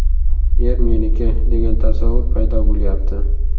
Yer meniki, degan tasavvur paydo bo‘lyapti.